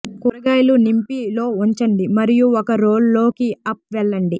కూరగాయల నింపి లో ఉంచండి మరియు ఒక రోల్ లోకి అప్ వెళ్లండి